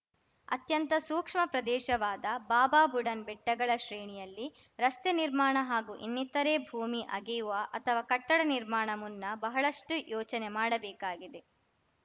ಅತ್ಯಂತ ಸೂಕ್ಷ್ಮ ಪ್ರದೇಶವಾದ ಬಾಬಾಬುಡನ್‌ ಬೆಟ್ಟಗಳ ಶ್ರೇಣಿಯಲ್ಲಿ ರಸ್ತೆ ನಿರ್ಮಾಣ ಹಾಗೂ ಇನ್ನಿತರೇ ಭೂಮಿ ಅಗೆಯುವ ಅಥವಾ ಕಟ್ಟಡ ನಿರ್ಮಾಣ ಮುನ್ನ ಬಹಳಷ್ಟುಯೋಚನೆ ಮಾಡಬೇಕಾಗಿದೆ